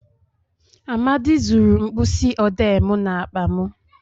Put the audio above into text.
Amadi zuru mkpisi odee m n'akpa m